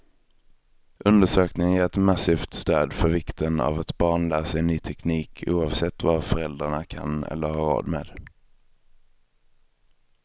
Undersökningen ger ett massivt stöd för vikten av att barn lär sig ny teknik, oavsett vad föräldrarna kan eller har råd med.